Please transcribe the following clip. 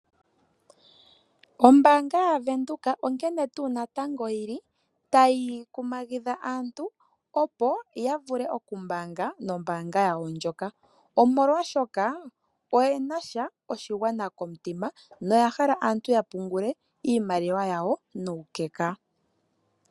Ombaanga yavenduka onkene ngaa natango tayi kumagitha aantu opo yavule okumbaanga nombaanga yawo ndjoka oshoka oyena oshigwana komutima noyahala aantu yapungule iimaliwa yawo nuukeka.